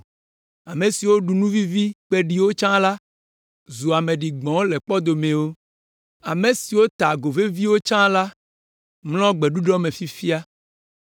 Ame siwo ɖu nu vivi kpeɖiwo tsã la, zu ame ɖigbɔ̃wo le kpɔdomewo. Ame siwo ta ago veviwo tsã la, mlɔ gbeɖuɖɔ me fifia.